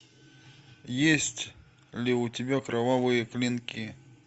есть ли у тебя кровавые клинки